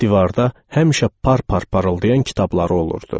Divarda həmişə par-par parıldayan kitabları olurdu.